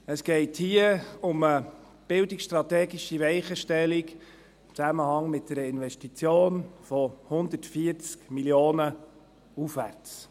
» Es geht hier um eine bildungsstrategische Weichenstellung im Zusammenhang mit einer Investition von 140 Mio. Franken aufwärts.